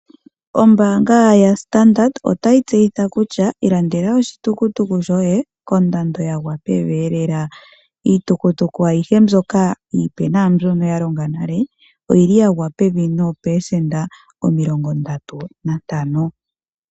Ombaanga ya Standard otayi tseyitha kutya ilandela oshitukutuku shoye kondando yagwa pevi lela . Iitukutuka ayihe mbyoka iipe naambyono ya longa nale oyili yagwa pevi poopelesenda omilongo ndatu nantano.